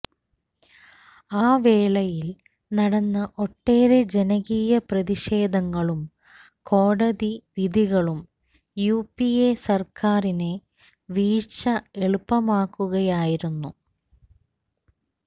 ആ വേളയില് നടന്ന ഒട്ടേറെ ജനകീയ പ്രതിഷേധങ്ങളും കോടതി വിധികളും യുപിഎ സര്ക്കാരിനെ വീഴ്ച എളുപ്പമാക്കുകയായിരുന്നു